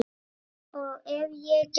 Og ef ég gæti?